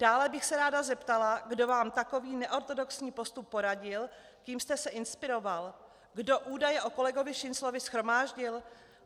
Dále bych se ráda zeptala, kdo vám takový neortodoxní postup poradil, kým jste se inspiroval, kdo údaje o kolegovi Šinclovi shromáždil.